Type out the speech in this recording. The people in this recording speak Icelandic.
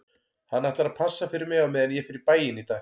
Hann ætlar að passa fyrir mig á meðan ég fer í bæinn í dag